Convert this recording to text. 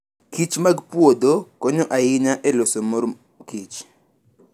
kichmag puodho konyo ahinya e loso mor kich.